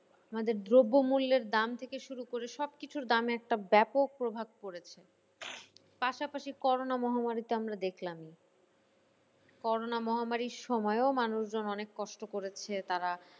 আমাদের দ্রব্য মূল্যের দাম থেকে শুরু করে সব কিছুর দাম একটা ব্যাপক প্রভাব পড়েছে। পাশাপাশি করোনা মহামারী তো আমরা দেখলামই করোনা মহামারির সময়ও মানুষজন অনেক কষ্ট করেছে তারা